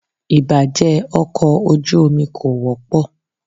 Ìbàjé ọkọ̀ ojú omi kò wọ́pọ̀.